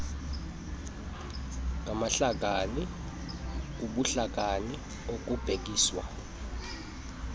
ngamahlakani kubuhlakani okubhekiswa